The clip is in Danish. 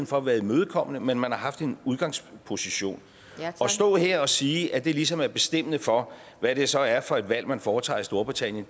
for at være imødekommende men man har haft en udgangsposition at stå her og sige at det ligesom er bestemmende for hvad det så er for et valg man foretager i storbritannien